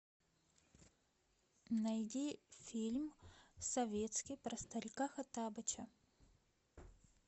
найди фильм советский про старика хоттабыча